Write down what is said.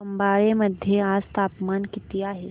खंबाळे मध्ये आज तापमान किती आहे